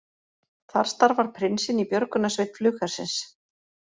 Þar starfar prinsinn í björgunarsveit flughersins